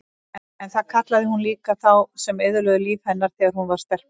En það kallaði hún líka þá sem eyðilögðu líf hennar þegar hún var stelpa.